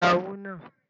Gba owó náà!